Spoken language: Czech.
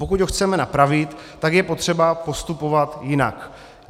Pokud to chceme napravit, tak je potřeba postupovat jinak.